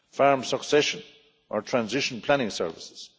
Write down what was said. farm succession or transition planning services